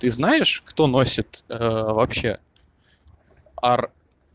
ты знаешь кто носит вообще ар